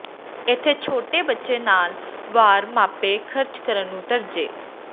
ਇੱਥੇ ਛੋਟੇ ਬੱਚੇ ਨਾਲ ਵਾਰ ਮਾਪੇ ਖਰਚ ਕਰਨ ਨੂੰ ਤਰਜੀਹ